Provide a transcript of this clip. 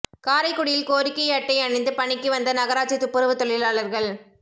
காரைக்குடியில் கோரிக்கை அட்டை அணிந்து பணிக்கு வந்த நகராட்சி துப்புரவுத் தொழிலாளா்கள்